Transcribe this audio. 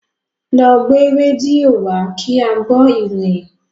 Lọ gbé rédíò wá kí á gbọ́ ìròyìn!